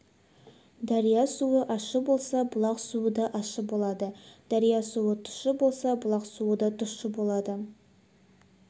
дария суы ащы болса бұлақ суы да ащы болады дария суы тұщы болса бұлақ суы да тұщы болады